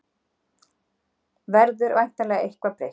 Verður væntanlega eitthvað breytt